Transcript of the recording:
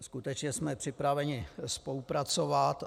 Skutečně jsme připraveni spolupracovat.